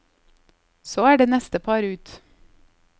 Så er det neste par ut.